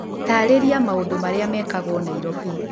taarĩria maũndũ marĩa mekagwo Nairobi